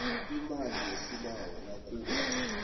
imali yesibawo nakube